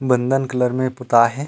बंदन कलर में पोताए हे।